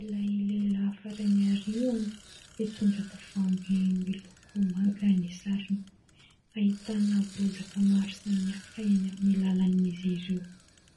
ilay lehilahy farany aoriana, mitondra tavoahangy miloko manga ny sarony, ahitana bozaka maro samihafa amin'ny lalany izy ireo.